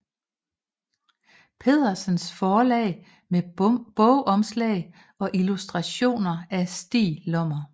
Pedersens Forlag med bogomslag og illustrationer af Stig Lommer